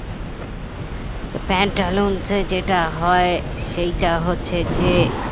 তো প্যান্টালুনসে যেটা হয় সেটা হচ্ছে যে